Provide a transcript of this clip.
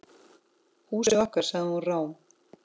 Húsið okkar.- sagði hún rám.